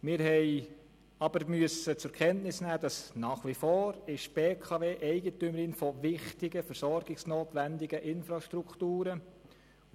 Wir haben aber zur Kenntnis nehmen müssen, dass die BKW nach wie vor Eigentümerin wichtiger versorgungsnotwendiger Infrastrukturen ist.